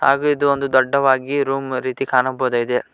ಹಾಗು ಇದೊಂದು ದೊಡ್ಡವಾಗಿ ರೂಮ್ ರೀತಿ ಕಾಣಬಹುದಾಗಿದೆ.